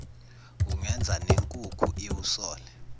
kungenza nenkukhu iwusole